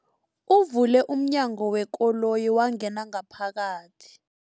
Uvule umnyango wekoloyi wangena ngaphakathi.